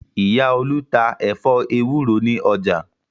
Ìyá Olú tá ẹ̀fọ́ ewúro ní ọjà.